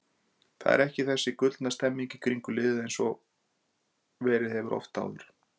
Það er ekki þessi gullna stemning í kringum liðið eins og verið hefur oft áður.